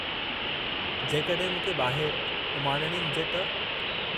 जेकॾहिं मूंखे ॿाहिरि उमाणणी हुजे त?